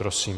Prosím.